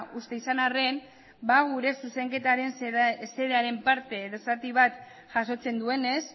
uste izan arren gure zuzenketaren parte edo zati bat jasotzen duenez